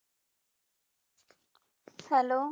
hello